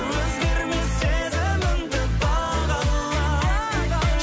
өзгермес сезіміңді бағала